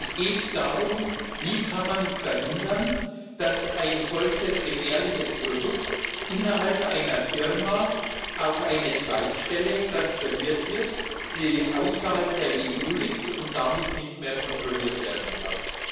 Es geht darum, wie man verhindern kann, dass ein solches gefährliches Produkt innerhalb einer Firma auf eine Zweigstelle transferiert wird, die außerhalb der EU liegt und damit nicht mehr kontrolliert werden kann.